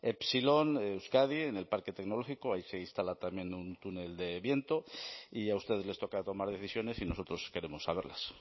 epsilon euskadi en el parque tecnológico ahí se instala en un túnel de viento y a ustedes les toca tomar decisiones y nosotros queremos saberlas